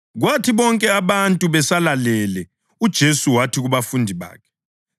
Kwathi bonke abantu besalalele, uJesu wathi kubafundi bakhe,